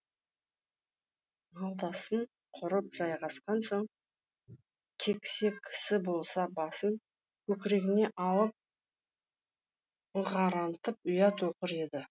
малдасын құрып жайғасқан соң кексе кісі болса басын көкірегіне алып ыңырантып аят оқыр еді